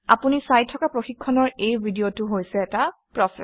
আপুনি চাই থকা প্ৰশিক্ষণৰ এই ভিডিঅটো হৈছে এটা প্ৰচেচ